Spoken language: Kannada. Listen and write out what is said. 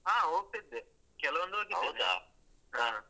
ಹಾ ಹೋಗ್ತಿದ್ದೆ ಕೆಲವೊಂದು ಹೋಗಿದ್ದೇನೆ ಹಾ.